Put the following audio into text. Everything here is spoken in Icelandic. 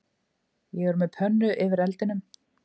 Ég er með pönnu yfir eldinum